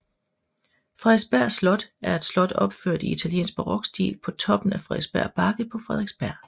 Frederiksberg Slot er et slot opført i italiensk barokstil på toppen af Frederiksberg Bakke på Frederiksberg